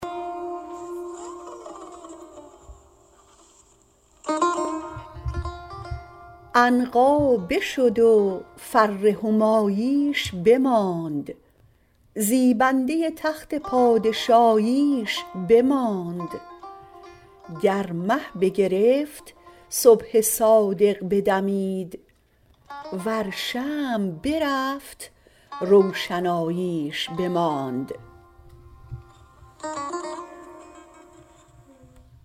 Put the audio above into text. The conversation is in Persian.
عنقا بشد و فر هماییش بماند زیبنده تخت پادشاییش بماند گر مه بگرفت صبح صادق بدمید ور شمع برفت روشناییش بماند